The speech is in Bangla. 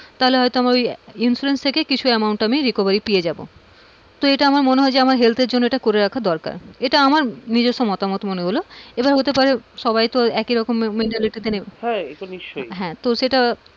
তাহলে হয়তো আমার ওই insurance থেকেই কিছু amount recovery আমি পেয়ে যাবো, তো আমার মনে হয় heath এর জন্যএটা করে রাখা দরকার, এটা আমার নিজস্ব মতামত মনে হলো এবার হতে পারে সবাই তো একরকম maintality তে,